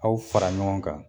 Aw fara ɲɔgɔn kan.